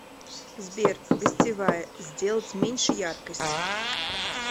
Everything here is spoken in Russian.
сбер гостевая сделать меньше яркость